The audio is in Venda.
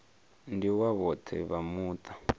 ndi wa vhoṱhe vha muṱa